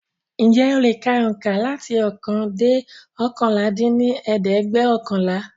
Ǹjẹ̀ o le ka oùnkà láti ókan dẹ́ oókànlá dín ní ẹ̀ẹ́dẹ́gbẹ́ọ̀kànlá?